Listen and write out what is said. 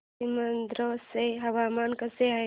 सीमांध्र चे हवामान कसे आहे